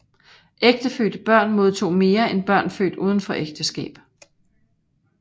Ægtefødte børn modtog mere end børn født udenfor ægteskab